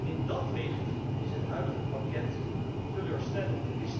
In dat licht is het huidige pakket teleurstellend.